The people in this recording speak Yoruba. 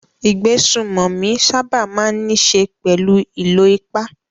Ìgbésùnmòmí sábà máa ń níṣe pẹ̀lú ìlò ipá.